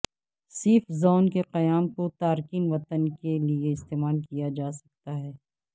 safe zone کے قیام کو تارکین وطن کے لیے استعمال کیا جا سکتا ہے